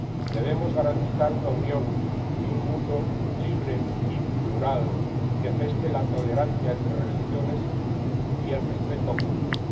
Debemos garantizar una Unión y un mundo libre y plural que geste la tolerancia entre religiones y el respeto mutuo